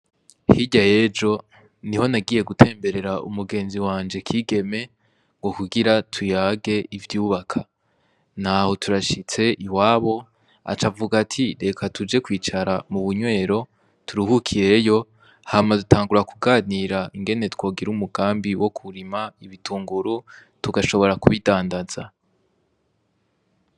Hirya yejo ni ho nagiye gutemberera umugenzi wanje kigeme ngo kugira tuyage ivyubaka, naho turashitse i wabo aca avuga ati reka tuje kwicara mu bunywero turuhukiyeyo hama utangura kuganira ingene twogira umugambi wo kurima ibitungura r tugashobora kubidandaza.